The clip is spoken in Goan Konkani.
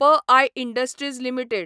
P I industries limited